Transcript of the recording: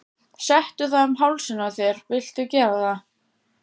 Settu það um hálsinn á þér viltu gera það?